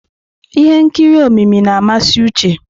Ihe nkiri omimi na-amasị Uche.